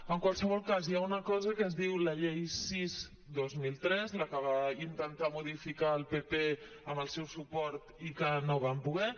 en qualsevol cas hi ha una cosa que es diu la llei sis dos mil tres la que va intentar modificar el pp amb el seu suport i que no van poder